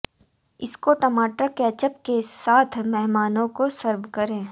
इसको टमाटर कैचेप के साथ मेहमानों को सर्व करें